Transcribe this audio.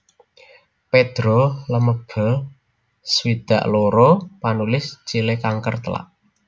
Pedro Lemebel swidak loro panulis Chile kanker telak